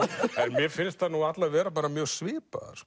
mér finnst þær allar vera mjög svipaðar